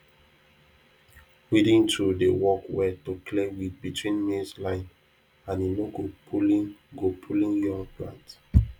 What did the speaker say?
weeding tool dey work well to clear weed between maize line and e no go pulling go pulling young plant